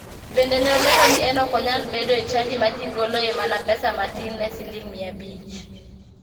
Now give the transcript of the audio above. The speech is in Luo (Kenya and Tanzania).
Bende ne olero ni en ok onyal bedo e chadi ma ji goloe mana pesa matin ne siling mia abich.